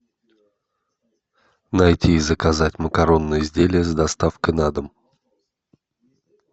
найти и заказать макаронные изделия с доставкой на дом